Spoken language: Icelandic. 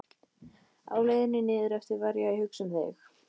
Á leiðinni niðureftir var ég að hugsa um þig.